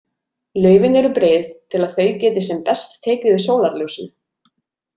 Laufin eru breið til að þau geti sem best tekið við sólarljósinu.